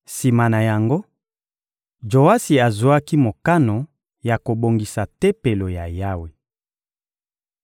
Sima na yango, Joasi azwaki mokano ya kobongisa Tempelo ya Yawe.